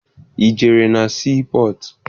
Ị jere na sii pọtụ?